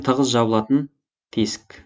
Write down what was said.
тығыз жабылатын тесік